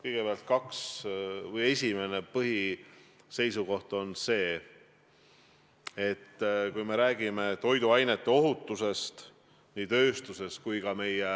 Kõigepealt, esimene põhiseisukoht on see, et kui me räägime toiduainete ohutusest nii tööstuses kui ka meie